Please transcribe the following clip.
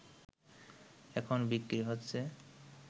এখন বিক্রি হচ্ছে